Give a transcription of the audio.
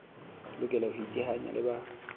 lokela ho iteanya le ba